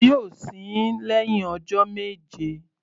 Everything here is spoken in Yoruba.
Wọn yóò sin ín lẹ́hìn ọjọ́ méje.